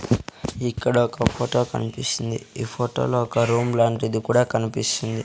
ఇక్కడ ఒక ఫోటో కనిపిస్తుంది ఈ ఫోటో లో ఒక రూమ్ లాంటిది కూడా కనిపిస్తుంది.